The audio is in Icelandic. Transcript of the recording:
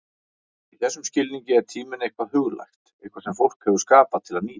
Í þessum skilningi er tíminn eitthvað huglægt, eitthvað sem fólk hefur skapað til að nýta.